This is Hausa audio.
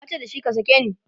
tace da shi"ka sake ni!"